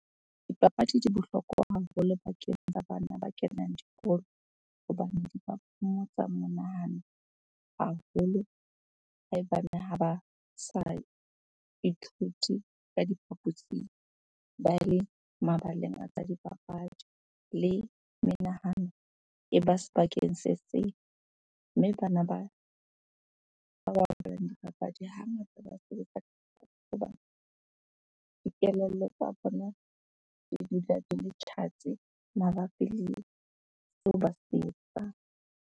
Dipapadi di bohlokwa haholo bakeng tsa bana ba kenang dikolo. Hobane di ba phomotsa monahano haholo haebaneng ha ba sa ithuti ka diphaposing, ba le mabaleng a tsa dipapadi. Le menahano e ba sebakeng se seng. Mme bana bapalang dipapadi hangata ba sebetsa dikelello tsa bona di dula di le tjhatsi mabapi le seo ba se etsang.